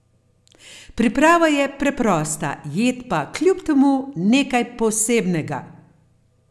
Priprava je preprosta, jed pa kljub temu nekaj posebnega!